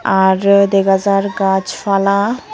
Aar dega jar gach fala.